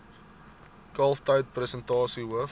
kalftyd persentasie hoof